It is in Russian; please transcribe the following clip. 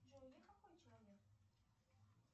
джой я какой человек